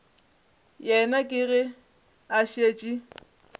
yena ke ge a šetše